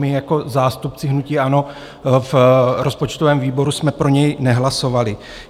My jako zástupci hnutí ANO v rozpočtovém výboru jsme pro něj nehlasovali.